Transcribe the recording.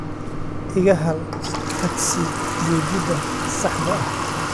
iga hel tagsi gegida saxda ah